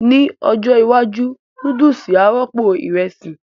Ní ọjọ́ iwájú, núdùsì á rọ́pò ìrẹsì